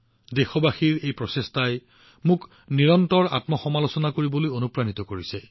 দেশবাসীৰ এই প্ৰচেষ্টাই মোক নিৰন্তৰে কাৰ্য অব্যাহত ৰাখিবলৈ অনুপ্ৰাণিত কৰিছে